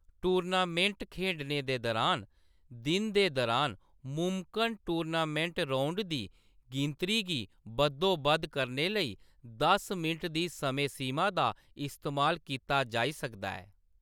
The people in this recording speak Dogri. टूर्नामेंट खेढने दे दरान, दिन दे दरान मुमकन टूर्नामेंट राउंड दी गिनतरी गी बद्धोबद्ध करने लेई दस मिंट दी समें सीमा दा इस्तेमाल कीता जाई सकदा ऐ।